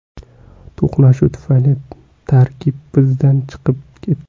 To‘qnashuv tufayli tarkib izdan chiqib ketdi.